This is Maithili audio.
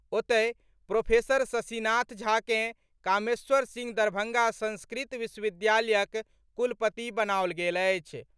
ओतहि, प्रोफेसर शशिनाथ झा कें कामेश्वर सिंह दरभंगा संस्कृत विश्वविद्यालयक कुलपति बनाओल गेल अछि।